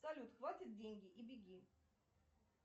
салют хватит деньги и беги